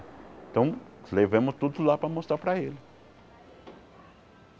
Então, levamos tudo lá para mostrar para ele.